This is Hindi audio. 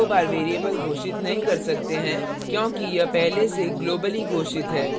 हम दो बार variable घोषित नहीं कर सकते हैं क्योंकि यह पहले से globally घोषित है